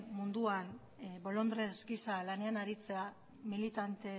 munduan bolondres gisa lanean aritzea